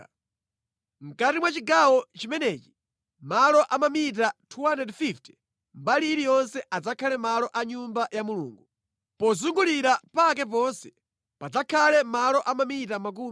Mʼkati mwa chigawo chimenechi, malo a mamita 250 mbali iliyonse adzakhala malo a Nyumba ya Mulungu. Pozungulira pake ponse padzakhala malo a mamita 25.